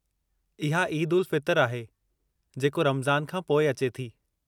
इहा ईद-उल-फ़ितरु आहे, जेको रमज़ान खां पोइ अचे थी।